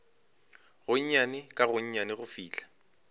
gonnyane ka gonnyane go fihla